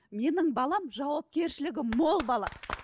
менің балам жауапкершілігі мол бала